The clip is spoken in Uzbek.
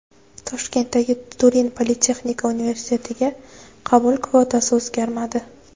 Toshkentdagi Turin politexnika universitetiga qabul kvotasi o‘zgarmadi.